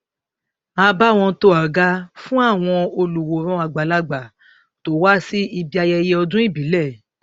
a bá wọn to àga fún àwọn olùwòran àgbàlagbà to wá sí ibi ayẹyẹ ọdún ìbílẹ